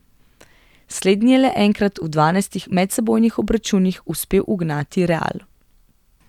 Slednji je le enkrat v dvanajstih medsebojnih obračunih uspel ugnati Real.